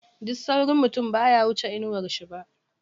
Duk saurin mutum baya wuce inawar shi ba.